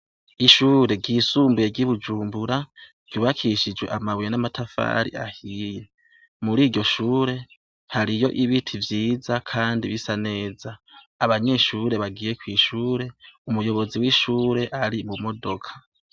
Ishure ryisumbuye ry'iBujumbura ryubakishijwe amabuye n'amatafari ahiye ,mur’iryo shure hariyo ibiti vyiza kandi bisa neza ,abanyeshure bagiye kw’ishure ,umuyobozi w'ishure ari mu modoka.